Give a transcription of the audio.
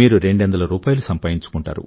మీరు రెండొందల రూపాయిలు సంపాదించుకుంటారు